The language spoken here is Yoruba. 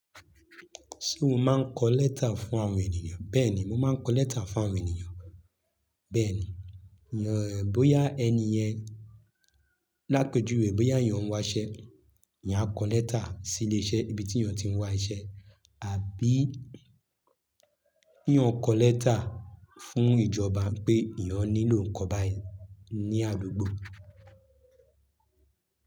Ṣé o máa ń kọ lẹ́tà fún àwọn ènìyàn? Bẹ́ẹ̀ni, mo máa ń kọ lẹ́tà fún àwọn ènìyàn. Bẹ́ẹ̀ni, yàn ẹ bóyá ẹni yẹn lápejú wẹ̀ bóyá eyàn ń wáṣẹ́, eyàn akọ lẹ́tà sí ilé iṣẹ́ ibi tí yàn ti ń wá iṣẹ́ àbí yàn kọ lẹ́tà fún ìjọba pé eyàn nílò nǹkan báyìí ní àdúgbò.